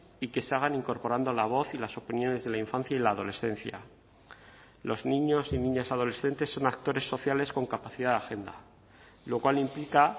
y que se hagan incorporando la voz y las opiniones de la infancia y la adolescencia los niños y niñas adolescentes son actores sociales con capacidad de agenda lo cual implica